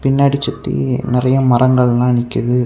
புன்னடி சுத்தி நெறைய மரங்கள் எல்லாம் நிக்குது.